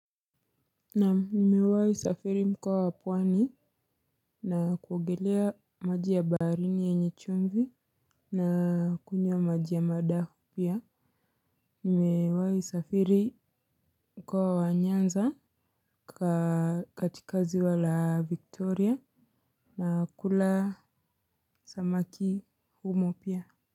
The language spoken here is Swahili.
Naam nimewahi safiri mkoa wa pwani na kuogelea maji ya baharini yenye chumvi na kunywa maji ya madafu pia. Nimewahi safiri mkoa wa nyanza katika ziwa la Victoria na kula samaki humo pia.